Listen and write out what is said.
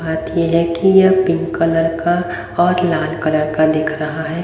बात ये है कि यह पिंक कलर का और लाल कलर का दिख रहा है।